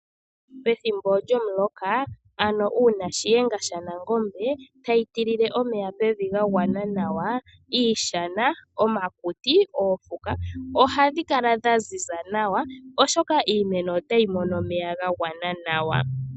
Pethimbo lyomuloka ano uuna shiyenga sha nangombe hayi tilile omeya pevi ga gwana nawa iishana, omakuti, oofuka ohadhi kala dha ziza nawa oshoka iimeno otayi mono omeya ga gwana nawa.